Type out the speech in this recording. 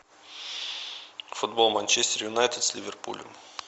футбол манчестер юнайтед с ливерпулем